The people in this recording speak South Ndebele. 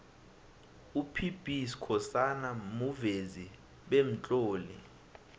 up b skhosana muvezi bemtloli